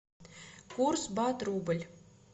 курс бат рубль